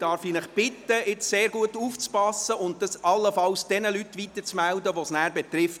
Ich bitte Sie, gut aufzupassen und die Information allenfalls an diejenigen weiterzuleiten, die es betrifft.